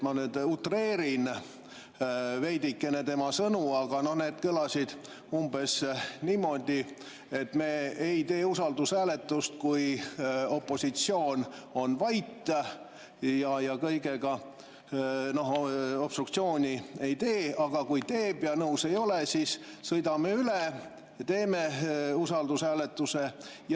Ma nüüd utreerin veidikene tema sõnu, aga need kõlasid umbes niimoodi, et me ei tee usaldushääletust, kui opositsioon on vait ja kõige puhul obstruktsiooni ei tee, aga kui teeb ja nõus ei ole, siis sõidame üle ja teeme usaldushääletuse.